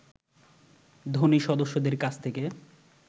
ধনী সদস্যদের কাছ থেকে